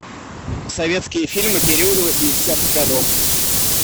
советские фильмы периода восьмидесятых годов